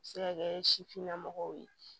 A bɛ se ka kɛ sifinnamɔgɔw ye